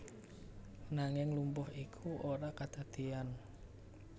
Nanging lumpuh iku ora kadadeyan